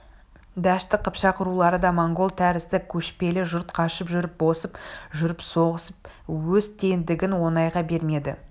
дәшті қыпшақ рулары да монғол тәрізді көшпелі жұрт қашып жүріп босып жүріп соғысып өз теңдігін оңайға бермеді